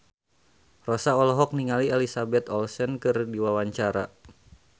Rossa olohok ningali Elizabeth Olsen keur diwawancara